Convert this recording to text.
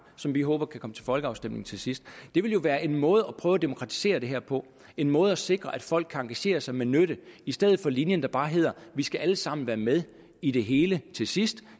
som vi håber kan komme til folkeafstemning til sidst det ville jo være en måde at prøve at demokratisere det her på en måde at sikre at folk kan engagere sig med nytte i stedet for linjen der bare hedder vi skal alle sammen være med i det hele til sidst